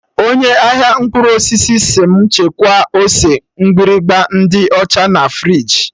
Onye ahịa mkpụrụ osisi sị mụ chekwaa ose mgbịrịgba ndị ọcha na friji